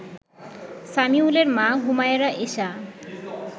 সামিউলের মা হুমায়রা এশা